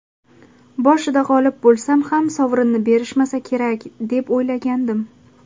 Boshida g‘olib bo‘lsam ham sovrinni berishmasa kerak, deb o‘ylagandim.